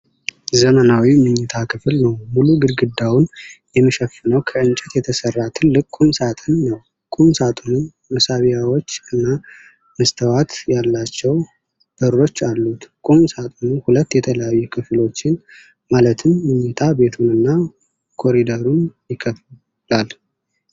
ዘመናዊ መኝታ ክፍል ነው። ሙሉ ግድግዳውን የሚሸፍነው ከእንጨት የተሰራ ትልቅ ቁም ሳጥን ነው። ቁም ሣጥኑ መሳቢያዎች እና መስተዋት ያላቸው በሮች አሉት። ቁም ሳጥኑ ሁለት የተለያዩ ክፍሎችን ማለትም መኝታ ቤቱን እና ኮሪደሩን ይከፍላል።